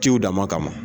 Ciw dama kama